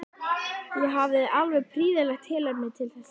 Ég hafði alveg prýðilegt tilefni til þess núna.